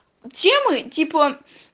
темы типа